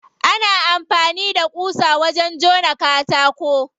Ana amfani da ƙusa wajen jona katako.